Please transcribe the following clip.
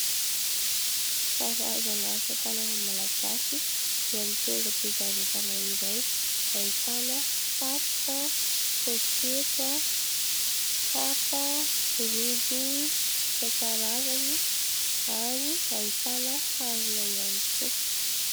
Karazana asatanana malagasy eo amin'ny toeram-pivarotana iray. Ahitana satroka, pôketra, kapa, rojo isan-karazany ary ahitana harona ihany koa.